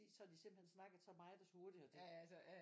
Så har de simpelthen snakket så meget og så hurtigt at